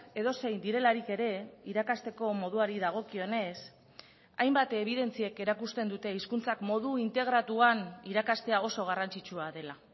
edozein direlarik ere irakasteko moduari dagokionez hainbat ebidentziek erakusten dute hizkuntzak modu integratuan irakastea oso garrantzitsua dela